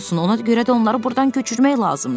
Ona görə də onları burdan köçürmək lazımdır.